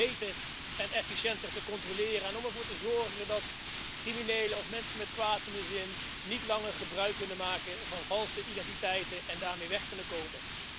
beter en efficiënter te controleren en om ervoor te zorgen dat criminelen of mensen met kwaad in de zin niet langer gebruik kunnen maken van valse identiteiten en daar mee weg kunnen komen.